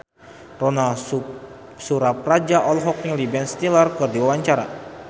Ronal Surapradja olohok ningali Ben Stiller keur diwawancara